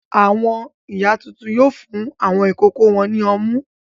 Àwọn ìyá tuntun yóò fún àwọn ìkókó wọn ní ọmú.